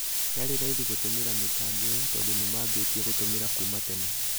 yarĩ raithi gũtũmĩra mĩtambo ĩyo tondũ nĩmambĩtie gũtũmĩra kuma tene.